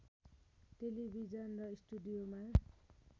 television स्टुडियोमा